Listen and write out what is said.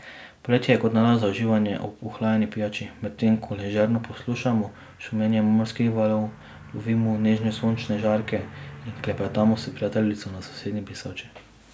Poletje je kot nalašč za uživanje ob ohlajeni pijači, medtem ko ležerno poslušamo šumenje morskih valov, lovimo nežne sončne žarke in klepetamo s prijateljico na sosednji brisači.